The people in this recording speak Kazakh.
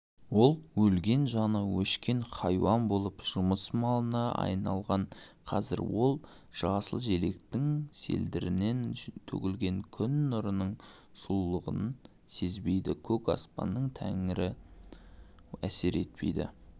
ол өлген жаны өшкен хайуан болып жұмыс малына айналған қазір ол жасыл желектің селдірінен төгілген күн нұрының сұлулығын сезбейді көк аспанның тереңі әсер етпейді